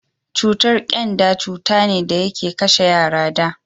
cutar kyanda cuta ne da yake kashe yara da